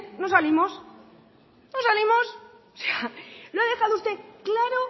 no salimos no salimos lo ha dejado usted claro